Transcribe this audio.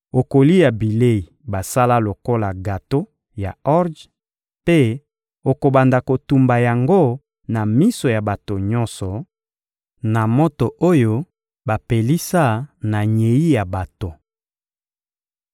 Okolia bilei basala lokola gato ya orje mpe okobanda kotumba yango na miso ya bato nyonso, na moto oyo bapelisa na nyei ya bato.»